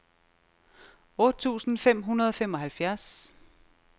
otte tusind fem hundrede og femoghalvfjerds